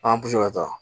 An ka taa